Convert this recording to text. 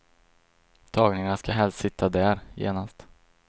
Tagningarna ska helst sitta där, genast.